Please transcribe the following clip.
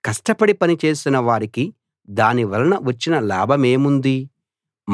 కష్టపడి పని చేసిన వారికి దాని వలన వచ్చిన లాభమేముంది